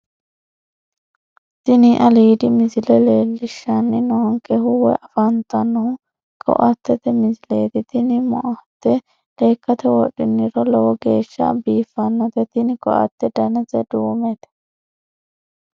Tini aliidi misile leellishshanni noonkehu woyi afantannohu koattete misileeti tini moatte lekkate wodhiniro lowo geeshsha biiffannote tini koatte danase duumete